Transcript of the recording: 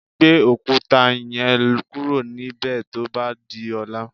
Gbé òkúta yẹn kúrò níbè tó bá di ọ̀la.